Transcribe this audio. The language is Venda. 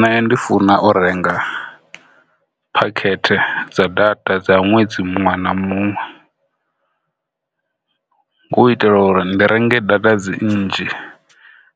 Nṋe ndi funa u renga phakhethe dza data dza ṅwedzi muṅwe na muṅwe u itela uri ndi renge data dzi nnzhi